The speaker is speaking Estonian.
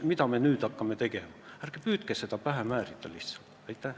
Ärge püüdke seda lihtsalt pähe määrida!